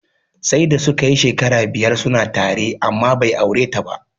Sai da suka yi shekara biyar suna tare amma bai aure ta ba.